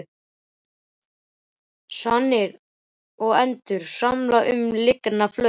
Svanir og endur svamla um lygnan flötinn.